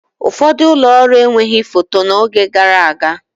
Ụfọdụ ụlọ ọrụ enweghị foto n'oge gara aga.